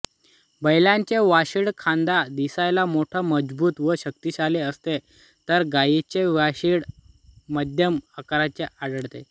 बैलाचे वशिंड खांदा दिसायला मोठे मजबूत व शक्तिशाली असते तर गायीचे वशिंड मध्यम आकाराचे आढळते